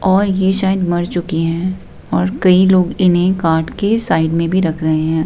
और ये शायद मर चुकी हैं और कई लोग इन्हें काट के साइड में भी रख रहे हैं।